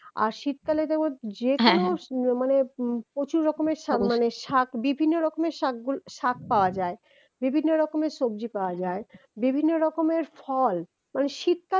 আর শীতকালে তোমার যেকোনো মানে প্রচুর রকমের মানে শাক মানে বিভিন্ন রকমের শাকগু শাক পাওয়া যায়, বিভিন্ন রকমের সবজি পাওয়া যায়, বিভিন্ন রকমের ফল মারে শীতকাল